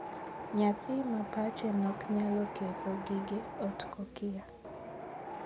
Nyathi ma pache nok nyalo ketho gige ot kokia.